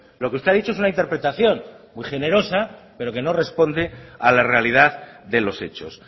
lo que usted ha dicho es una interpretación muy generosa pero que no responde a la realidad de los hechos